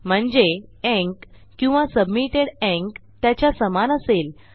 म्हणजे ईएनसी किंवा submitted ENC त्याच्या समान असेल